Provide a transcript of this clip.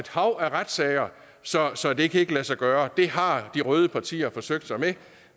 hav af retssager så så det kan ikke lade sig gøre det har de røde partier forsøgt sig med